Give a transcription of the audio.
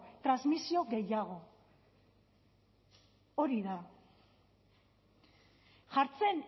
transmisio gehiago hori da jartzen